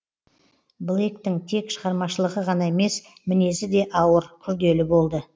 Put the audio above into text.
блейктің тек шығармашылығы ғана емес мінезі де ауыр күрделі болды